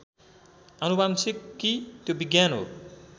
आनुवंशिकी त्यो विज्ञान हो